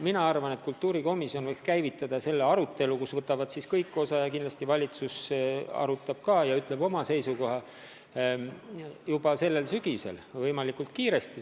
Mina arvan, et kultuurikomisjon võiks käivitada nüüd arutelu, kust võtavad kõik osa, ja kindlasti valitsus arutab seda ka ja ütleb oma seisukoha juba sellel sügisel võimalikult kiiresti.